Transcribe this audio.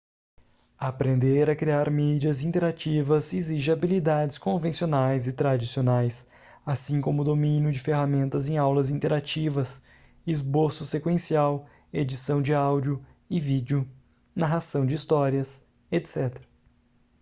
aprender a criar mídias interativas exige habilidades convencionais e tradicionais assim como o domínio de ferramentas em aulas interativas esboço sequencial edição de áudio e vídeo narração de histórias etc.